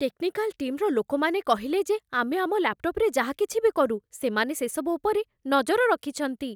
Technical ଟିମ୍‌ର ଲୋକମାନେ କହିଲେ ଯେ ଆମେ ଆମ ଲ୍ୟାପ୍‌ଟପ୍‌ରେ ଯାହା କିଛି ବି କରୁ, ସେମାନେ ସେସବୁ ଉପରେ ନଜର ରଖିଛନ୍ତି ।